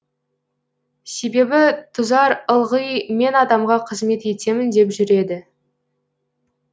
себебі тұзар ылғи мен адамға қызмет етемін деп жүреді